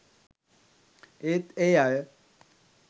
ඒත් ඒ අය